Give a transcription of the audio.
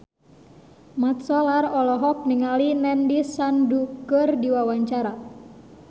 Mat Solar olohok ningali Nandish Sandhu keur diwawancara